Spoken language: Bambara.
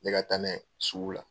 N me ka taa n'a ye sugu la.